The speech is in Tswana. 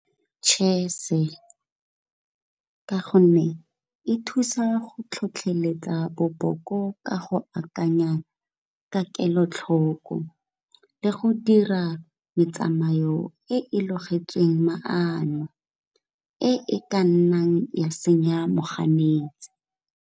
Chess-e, ka gonne e thusa go tlhotlheletsa boboko ka go akanya ka kelotlhoko, le go dira metsamayo e e logetsweng maano e e ka nnang ya senya moganetsi.